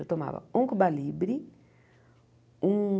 Eu tomava um cuba libre, um...